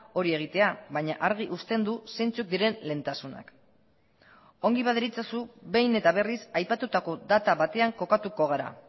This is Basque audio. hori egitea baina argi uzten du zeintzuk diren lehentasunak ongi baderitzozu behin eta berriz aipatutako data batean kokatuko gara